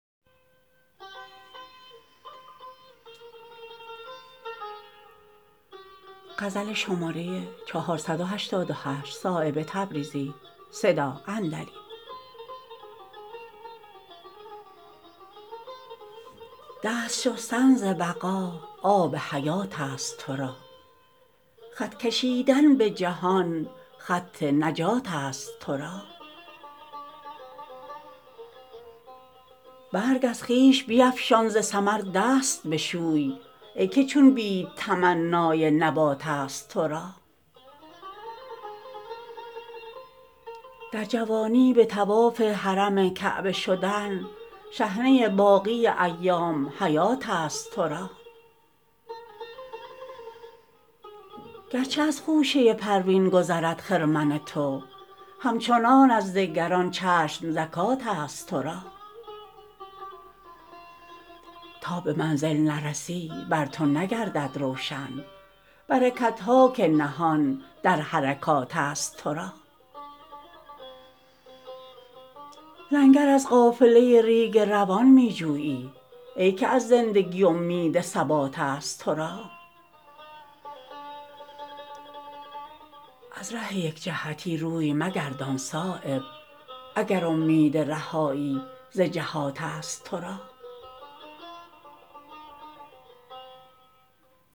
دست شستن ز بقا آب حیات است ترا خط کشیدن به جهان خط نجات است ترا برگ از خویش بیفشان ز ثمر دست بشوی ای که چون بید تمنای نبات است ترا در جوانی به طواف حرم کعبه شدن شحنه باقی ایام حیات است ترا گرچه از خوشه پروین گذرد خرمن تو همچنان از دگران چشم زکات است ترا تا به منزل نرسی بر تو نگردد روشن برکت ها که نهان در حرکات است ترا لنگر از قافله ریگ روان می جویی ای که از زندگی امید ثبات است ترا از ره یک جهتی روی مگردان صایب اگر امید رهایی ز جهات است ترا